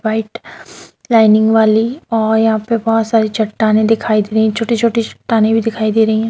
White lining वाली और यहां पे बहुत सारे चट्टाने दिखाई दे रही हैं छोटे-छोटे चट्टान भी दिखाई दे रही है।